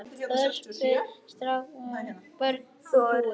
Öspin státin brumi búin.